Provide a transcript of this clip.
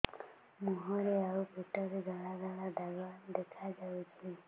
ମୁହଁରେ ଆଉ ପେଟରେ ଧଳା ଧଳା ଦାଗ ଦେଖାଯାଉଛି